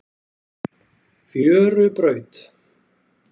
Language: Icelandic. Fjörubraut